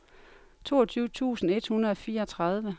toogtyve tusind et hundrede og fireogtredive